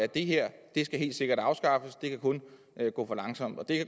det her skal helt sikkert afskaffes og det kan kun gå for langsomt og det